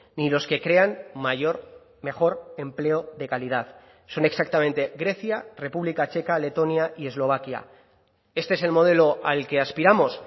ni los que crean mayor mejor empleo de calidad son exactamente grecia república checa letonia y eslovaquia este es el modelo al que aspiramos